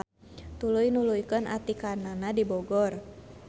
Tuluy nuluykeun atikanana di Bogor.